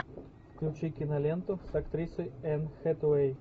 включи киноленту с актрисой энн хэтэуэй